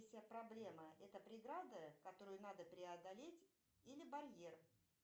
вся проблема это преграда которую надо преодолеть или барьер